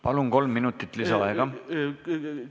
Palun, kolm minutit lisaaega!